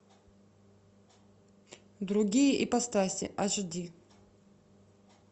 другие ипостаси аш ди